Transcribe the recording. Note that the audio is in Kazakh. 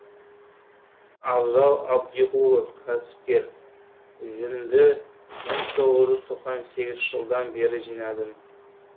абзал әбдіғұлов кәсіпкер жүнді мың тоғыз жүз тоқсан сегізінші жылдан бері жинадым